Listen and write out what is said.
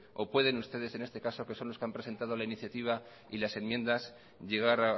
o pueden ustedes en este caso que son los que han presentado la iniciativa y las enmiendas llegar